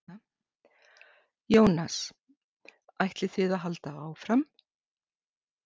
Jónas: Ætlið þið að halda áfram?